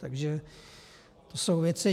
Takže to jsou věci.